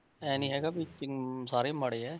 ਇਹ ਨੀ ਹੈਗਾ ਵੀ ਕਿ ਸਾਰੇ ਮਾੜੇ ਹੈ।